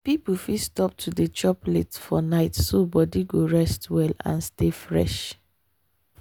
people fit stop to dey chop late for night so body go rest well and stay fresh.